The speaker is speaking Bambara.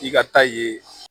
I ka taa ye